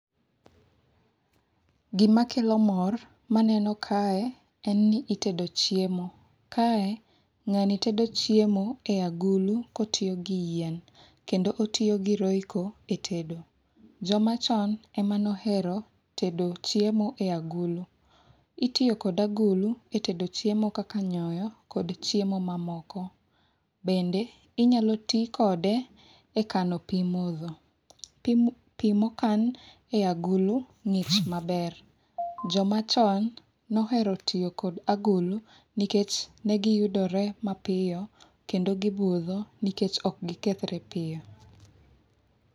Gima kelo mor maneno kae en ni itedo chiemo. Kae ng'ani tedo chiemo e agulu kotiyo gi yien. Kendo otiyo gi royco e tedo. Joma chon e mane ohero tedo chiemo e agulu. Itiyo kod agulu e tedo chiemo kaka nyoyo kod chiemo mamoko. Bende inyalo ti kode e kano pi modho. Pi mokan e agulu ng'ich maber. Jo machon nohero tiyo kod agulu nikech negiyudore mapiyo kendo gibudho nikech okgikethre piyo.